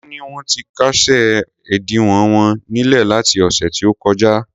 Wón ní wón ti kásẹ̀ ẹ̀dínwó wọn nílẹ̀ láti ọ̀sẹ̀ tí ó kọjá.